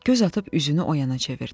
Göz atıb üzünü oyana çevirdi.